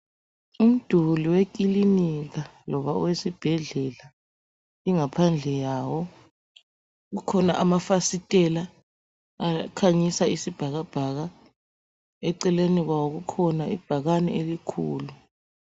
Umduli wekilinika loba owesibhedlela, ingaphandle yawo kukhona amafasitela akhanyisa isibhakabhaka eceleni kwawo kukhona ibhakani elikhulu.